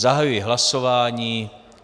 Zahajuji hlasování.